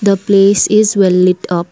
The place is well lit up.